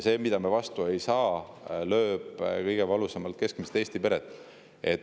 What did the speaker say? Kui vastu ei saada, siis see lööb kõige valusamalt keskmise Eesti pere pihta.